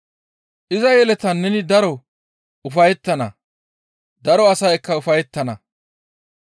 Iza yeletan neni daro ufayettana; Daro asaykka ufayettana.